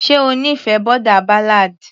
ṣe ó nífẹ̀ẹ́ boarder ballad.